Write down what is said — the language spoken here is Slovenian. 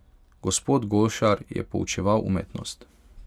Gospod Golšar je poučeval umetnost.